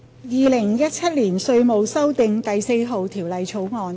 《2017年稅務條例草案》。